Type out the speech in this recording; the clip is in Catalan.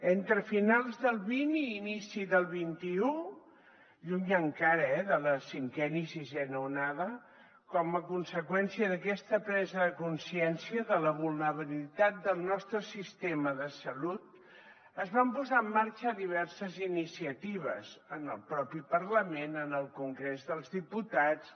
entre finals del xx i inici del xxi lluny encara eh de la cinquena i sisena onada com a conseqüència d’aquesta presa de consciència de la vulnerabilitat del nostre sistema de salut es van posar en marxa diverses iniciatives en el propi parlament en el congrés dels diputats